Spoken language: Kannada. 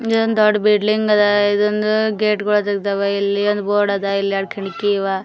ದೊಡ್ಡ್ ಬಿಲ್ಡಿಂಗ್ ಅದ ಇದನ್ನು ಗೇಟ್ ಗಳು ತೆಗ್ದವ ಇಲ್ಲಿ ಒಂದ್ ಬೋರ್ಡ್ ಅದ ಇಲ್ಲಿ ಎರಡ್ ಕಿಡಕಿ ಅದಾವ .